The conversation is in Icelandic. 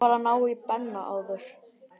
Ég varð að ná í Benna áður.